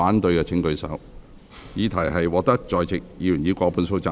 我認為議題獲得在席議員以過半數贊成。